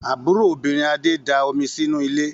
Àbúrò obìnrin Adé da omi sínú ilé.